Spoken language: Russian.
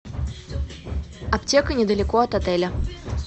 аптека недалеко от отеля